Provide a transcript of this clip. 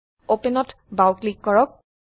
Openত বাও ক্লিক কৰক